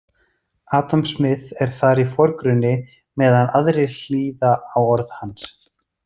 Adam Smith er þar í forgrunni meðan aðrir hlýða á orð hans.